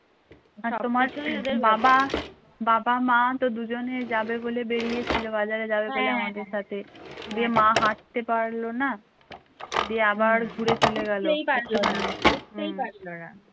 বাবা বাবা মা তো দুজনেই যাবে বলে বেরিয়েছিল বাজারে যাবে বলে আমাদের সাথে দে মা হাঁটতে পারল না দে আবার ঘুরে চলে গেল